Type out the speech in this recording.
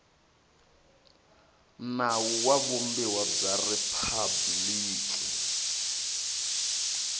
nawu wa vumbiwa bya riphabliki